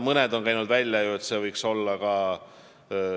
Mõned on käinud välja ka kinnisvaramaksu.